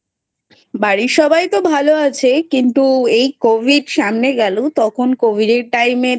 বাড়ির সবাই তো ভালো আছে কিন্তু এই Covid সামনে গেল তখন Covid এর Time এ